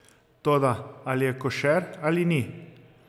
Toda ali je košer ali ni?